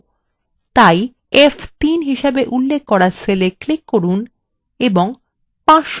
তাই f3 হিসেবে উল্লেখ করা cell click করুন এবং 500 লিখুন